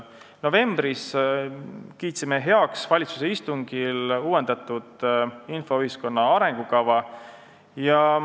Novembris kiitsime valitsuse istungil heaks uuendatud infoühiskonna arengukava.